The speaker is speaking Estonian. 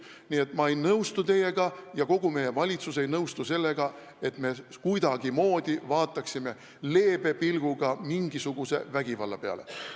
Nii et ma ei nõustu teiega ja kogu meie valitsus ei nõustu sellega, nagu me kuidagimoodi leebe pilguga vaataksime mingisuguse vägivalla peale.